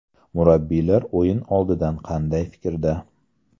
Murabbiylar o‘yin oldidan qanday fikrda?